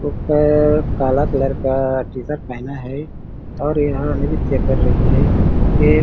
ऊपर काला कलर का टी-शर्ट पहना है और यह नृत्य कर रही है एक --